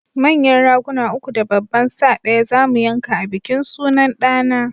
Manyan Raguna uku da babban sa ɗaya zamu yanka a bikin sunan ɗa na